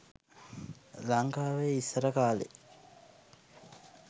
ලංකාවේ ඉස්සර කාලෙ